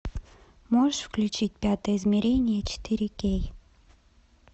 можешь включить пятое измерение четыре кей